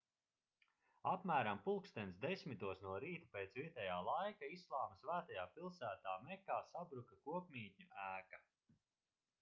apmēram plkst 10:00 no rīta pēc vietājā laika islāma svētajā pilsētā mekā sabruka kopmītņu ēka